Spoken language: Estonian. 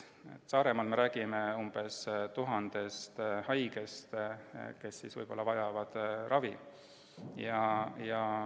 Saaremaa puhul me räägime umbes tuhandest haigest, kes võisid vajada ravi.